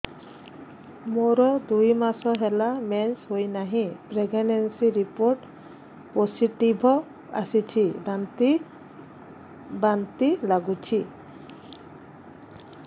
ମୋର ଦୁଇ ମାସ ହେଲା ମେନ୍ସେସ ହୋଇନାହିଁ ପ୍ରେଗନେନସି ରିପୋର୍ଟ ପୋସିଟିଭ ଆସିଛି ବାନ୍ତି ବାନ୍ତି ଲଗୁଛି